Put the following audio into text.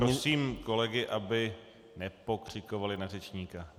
Prosím kolegy, aby nepokřikovali na řečníka.